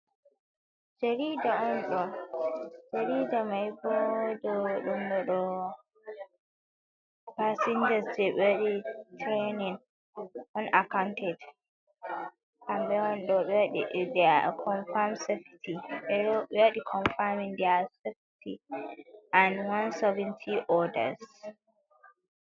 Jariida on ɗo'o, jariida mai boo ɗo holli passingas jey ɓe waɗi tireenin on, accounted hamɓe woni do'o conform sofety ɓe waɗi conformin, nda soket and one soventy orders.